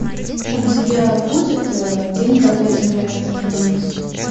у тебя будет день когда земля остановилась